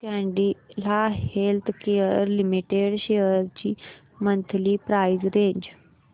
Cadila healthcare limited shares ची monthly price range